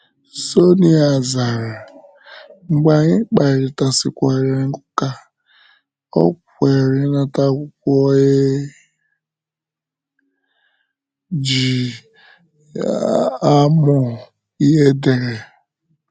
Sonia zara, mgbe anyị kparịtasịkwara ụka, o kweere ịnata akwụkwọ e ji amụ ihe edere.